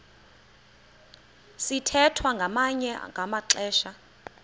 sithwethwa ngamanye amaxesha